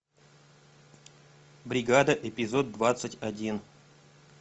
бригада эпизод двадцать один